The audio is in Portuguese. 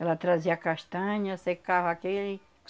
Ela trazia a castanha, secava aquele